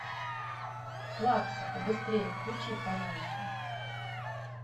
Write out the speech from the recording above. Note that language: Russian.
плакса побыстрее включи пожалуйста